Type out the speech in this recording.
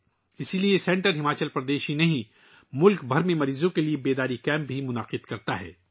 اسی لئے، یہ مرکز نہ صرف ہماچل پردیش بلکہ پورے ملک میں مریضوں کے لئے بیداری کیمپوں کا اہتمام کرتا ہے